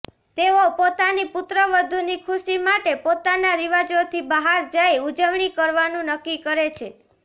તેઓ પોતાની પુત્રવધુની ખુશી માટે પોતાના રિવાજોથી બહાર જઈ ઊજવણી કરવાનું નક્કી કરે છે